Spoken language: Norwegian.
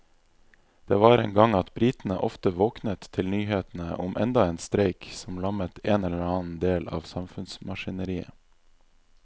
Det var en gang at britene ofte våknet til nyhetene om enda en streik som lammet en eller annen del av samfunnsmaskineriet.